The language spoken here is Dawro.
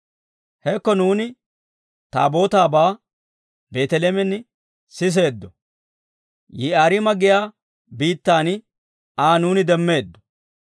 Hekko, nuuni Taabootaabaa, Efiraatan siseeddo; Yi'aariima giyaa biittaan Aa nuuni demmeeddo.